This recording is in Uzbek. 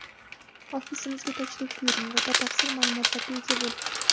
Ofisimizga tashrif buyuring va batafsil ma’lumotlarga ega bo‘ling!